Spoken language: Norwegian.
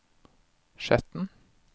Skjetten